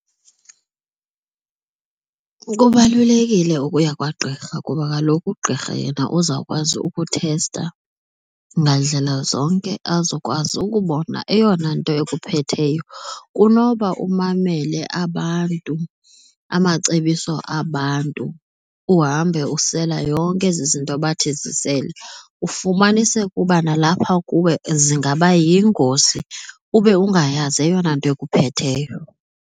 Kubalulekile ukuya kwagqirha kuba kaloku ugqirha yena uzawukwazi ukuthesta ngandlela zonke azokwazi ukubona eyona nto ekuphetheyo kunoba umamele abantu amacebiso abantu uhambe usela yonke ezi zinto bathi zisele, ufumanise ukuba nalapha kuwe zingaba yingozi ube ungayazi eyona nto ekuphetheyo.